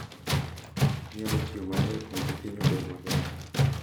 Inyalo tiyo matek mondo piny obed maber.